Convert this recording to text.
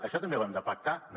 això també ho hem de pactar no